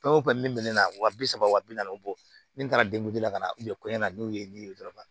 Fɛn o fɛn min bɛ ne na wa bi saba wa bi naani bɔ min taara la ka na na n'o ye ni ye dɔrɔn